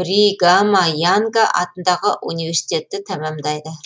бригама янга атындағы университетті тәмамдайды